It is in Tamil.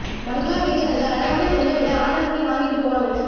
பங்களா வீடுகள்ல அழகுக்காகத் தொங்க விட ஆர்டர் பண்ணி வாங்கிட்டுப் போவாங்கனு